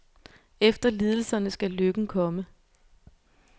Efter lidelserne skal lykken komme.